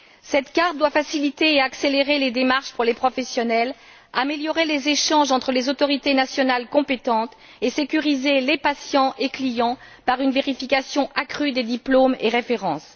Cette carte doit faciliter et accélérer les démarches pour les professionnels, améliorer les échanges entre les autorités nationales compétentes et sécuriser les patients et les clients par une vérification accrue des diplômes et des références.